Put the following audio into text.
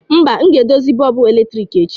Mba, m ga-edozi bọlbụ eletrik echi